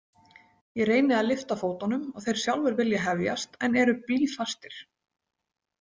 Ég reyni að lyfta fótunum og þeir sjálfir vilja hefjast en eru blýfastir.